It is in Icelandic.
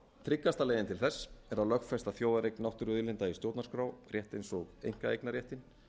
tryggasta leiðin til þess er að lögfesta þjóðareign náttúruauðlinda í stjórnarskrá rétt eins og einkaeignarréttinn